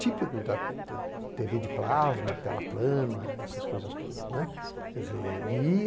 Típico da têvê de plasma, tela plana, essas coisas todas.